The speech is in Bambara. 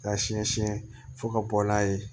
K'a siɲɛ siyɛn fo ka bɔ n'a ye